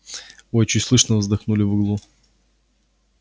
ой чуть слышно вздохнули в углу